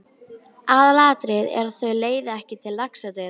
Aðalatriðið er, að þau leiði ekki til laxadauða.